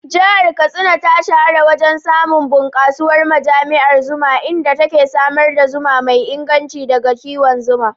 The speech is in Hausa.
Jihar Katsina ta shahara wajen samun bunkasuwar ma'ajiyar zuma, inda take samar da zuma mai inganci daga kiwon zuma.